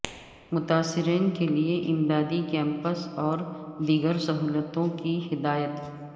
متاثرین کیلئے امدادی کیمپس اور دیگر سہولتوں کی ہدایت